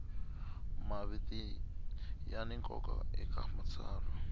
maviti ya ni nkoka eka matsalwa